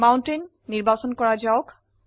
mountain নিৰ্বাচন কৰা যাওক